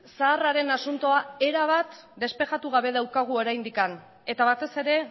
zaharraren asuntoa erabat despejatu gabe daukagu oraindik eta batez ere